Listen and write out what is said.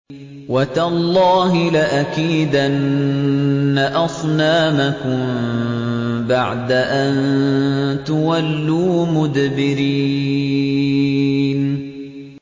وَتَاللَّهِ لَأَكِيدَنَّ أَصْنَامَكُم بَعْدَ أَن تُوَلُّوا مُدْبِرِينَ